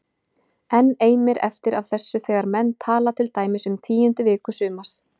Enn eimir eftir af þessu þegar menn tala til dæmis um tíundu viku sumars